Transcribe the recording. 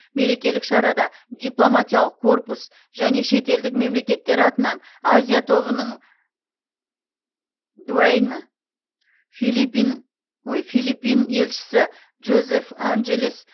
мерекелік шарада дипломатиялық корпус және шетелдік мемлекеттер атынан азия тобының дуаейні филиппин елшісі жозеф анжелес